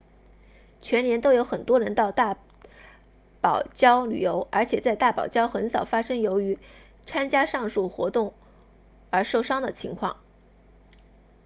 全年都有很多人到大堡礁旅游而且在大堡礁很少发生由于参加上述任何活动而受伤的情况